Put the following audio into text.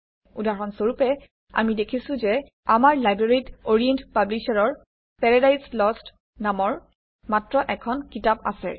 উদাহৰণ স্বৰপে আমি দেখিছোঁ যে আমাৰ লাইব্ৰেৰীত অৰিয়েণ্ট পাব্লিশ্বাৰৰ পেৰেডাইজ লষ্ট নামৰ মাত্ৰ এখন কিতাপ আছে